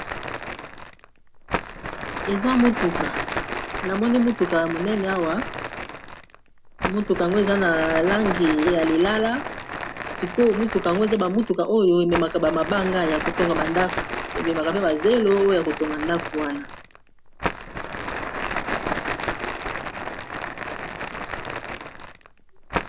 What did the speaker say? Eza motuka ya monene awa motukango eza na langi ya lilala sikoyo motukango eza bamutuka oyo ememaka bamabanga ya kotonga bandako ememaka mpe bazelo oyo ya kotonga ndako wana